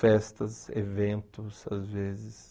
festas, eventos, às vezes.